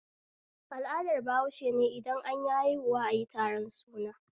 Al'adar bahaushene idan anyi haihuwa ayi taron suna